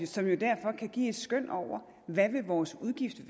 som jo derfor kan give et skøn over hvad vores udgift